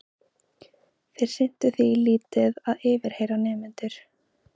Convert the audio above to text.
Þeir sinntu því lítið að yfirheyra nemendur.